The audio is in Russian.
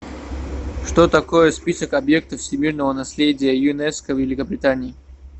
что такое список объектов всемирного наследия юнеско в великобритании